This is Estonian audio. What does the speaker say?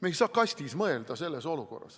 Me ei saa selles olukorras kastis mõelda.